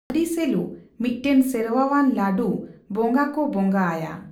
ᱟᱨᱤᱥᱮᱞᱩ, ᱢᱤᱫᱴᱟᱝ ᱥᱮᱨᱣᱟᱣᱟᱱ ᱞᱟᱹᱰᱩ ᱵᱚᱸᱜᱟ ᱠᱚ ᱵᱚᱸᱜᱟ ᱟᱭᱟ ᱾